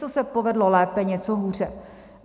Něco se povedlo lépe, něco hůře.